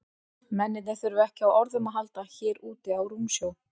Mennirnir þurfa ekki á orðum að halda hér úti á rúmsjó.